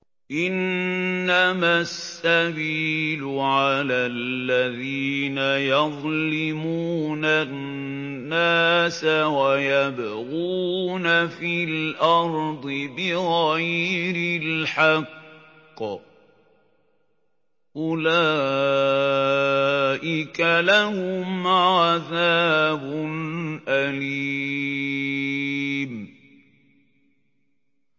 إِنَّمَا السَّبِيلُ عَلَى الَّذِينَ يَظْلِمُونَ النَّاسَ وَيَبْغُونَ فِي الْأَرْضِ بِغَيْرِ الْحَقِّ ۚ أُولَٰئِكَ لَهُمْ عَذَابٌ أَلِيمٌ